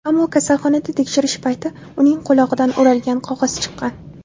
Ammo kasalxonada tekshirish payti uning qulog‘idan o‘ralgan qog‘oz chiqqan.